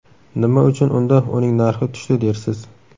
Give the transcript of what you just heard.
Nima uchun unda uning narxi tushdi dersiz?